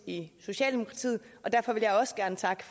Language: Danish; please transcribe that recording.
i socialdemokratiet og derfor vil jeg også gerne takke